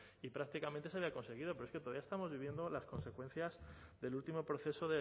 y prácticamente se había conseguido pero es que todavía estamos viviendo las consecuencias del último proceso